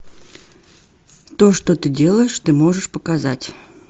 то что ты делаешь ты можешь показать